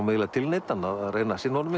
eiginlega tilneyddan að reyna að sinna honum